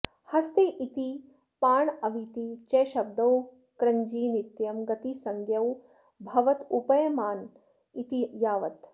हस्ते इति पाणाविति च शब्दौ कृञि नित्यं गतिसंज्ञौ भवत उपयमन इति यावत्